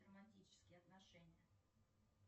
романтические отношения